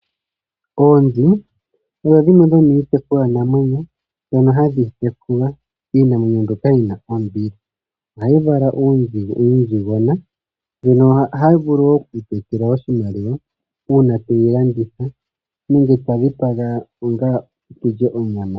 Oonzi odho dhimwe dhomiitekulwa namwenyo mbyono hayi tekulwa. Iinamwenyo mbika oyina ombili. Ohadhi vala uunzigona. Ohadhi vulu oku etela aantu oshimaliwa uuna to dhi landitha nenge ta dhi dhipagwa aantu ya lye onyama.